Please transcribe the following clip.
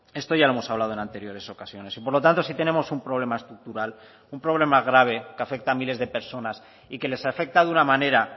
esto ya lo hemos hablado en anteriores ocasiones y por lo tanto si tenemos un problema estructural un problema grave que afecta a miles de personas y que les afecta de una manera